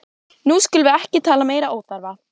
Nú skulum við ekki tala meiri óþarfa!